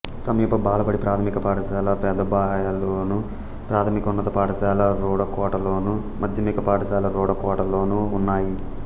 సమీప బాలబడి ప్రాథమిక పాఠశాల పెదబయలులోను ప్రాథమికోన్నత పాఠశాల రూడకోటలోను మాధ్యమిక పాఠశాల రూడకోటలోనూ ఉన్నాయి